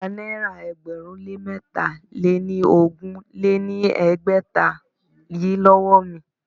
Gba náírà ẹgbẹ̀rún lé mẹ́tà lé ní ogún lé ní ẹgbẹ́ta yìí lówó mi!